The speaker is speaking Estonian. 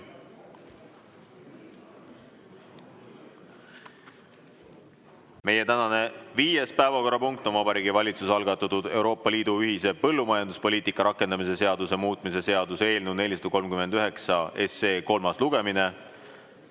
Meie tänane viies päevakorrapunkt on Vabariigi Valitsuse algatatud Euroopa Liidu ühise põllumajanduspoliitika rakendamise seaduse muutmise seaduse eelnõu 439 kolmas lugemine.